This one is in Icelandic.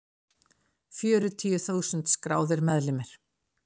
Fjörutíu þúsund skráðir meðlimir.